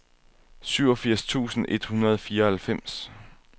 syvogfirs tusind et hundrede og fireoghalvfems